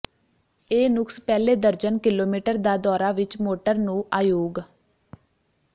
ਇਹ ਨੁਕਸ ਪਹਿਲੇ ਦਰਜਨ ਕਿਲੋਮੀਟਰ ਦਾ ਦੌਰਾ ਵਿਚ ਮੋਟਰ ਨੂੰ ਅਯੋਗ